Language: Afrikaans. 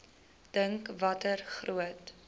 dink watter groot